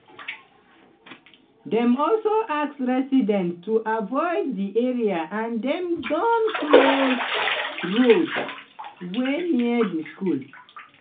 dem also ask residents to avoid di area and dem don close roads wey near di school.